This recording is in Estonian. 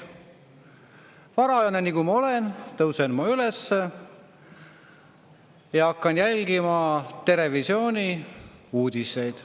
Varajane, nagu ma olen, tõusen üles ja hakkan jälgima "Terevisiooni" uudiseid.